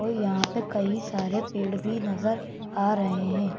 यहां पे कई सारे पेड़ भी नजर आ रहे हैं।